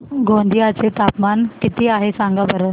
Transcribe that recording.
गोंदिया चे तापमान किती आहे सांगा बरं